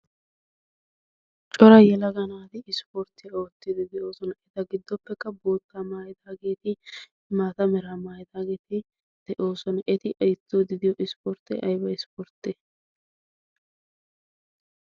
cora yalaganaati ispporttiyaa oottiidi de7oosona. eta giddoppekka bootta maayidaageeti maata meraa maayidaageeti de7oosona. eti oottiddi ispportti aaybba ispportte?